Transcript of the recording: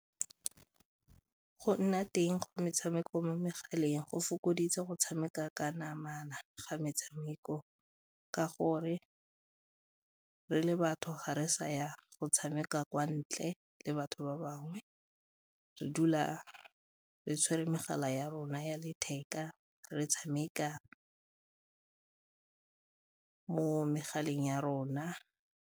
Go nna teng ga metshameko mo megaleng go fokoditse go tshameka ka namana ga metshameko ka gore re le batho ga re sa ya go tshameka kwa ntle le batho ba bangwe, re dula re tshwere megala ya rona ya letheka, re tshameka mo megaleng ya rona.